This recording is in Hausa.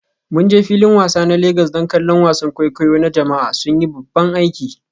Mun je filin wasa na Legas don kallon wasan kwaikwayo na jama'a, sun yi babban aiki.